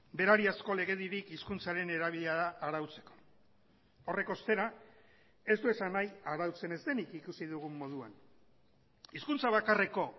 berariazko legedirik hizkuntzaren erabilera arautzeko horrek ostera ez du esan nahi arautzen ez denik ikusi dugun moduan hizkuntza bakarreko